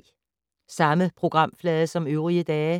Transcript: Samme programflade som øvrige dage